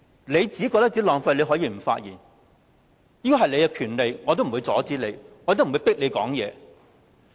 你覺得浪費時間可以不發言，這是你的權利，我不會阻止你，亦不會迫你發言。